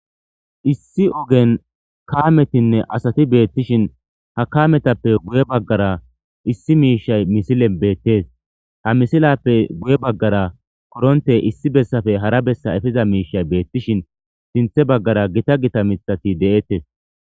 Issi oggen kammetinne asati bettishin ha kammetappe guye baggara issi mishshay missilen bettes ha missilappe guye baggara korontte issi bessappe hara bessa eppiza mishshay bettishin sinththa baggara gitta gitta miththati de'ettes.